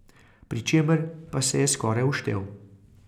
Pri čemer pa se je skoraj uštel.